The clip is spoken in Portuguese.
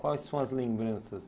Quais são as lembranças?